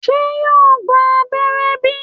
se yo gba abẹrẹ bi?